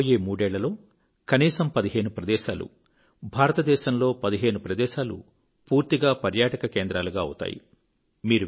రాబోయే మూడేళ్ళలో కనీసం 15 ప్రదేశాలు భారతదేశంలో 15 ప్రదేశాలు పూర్తిగా పర్యటనకేంద్రాలుగా అవుతాయి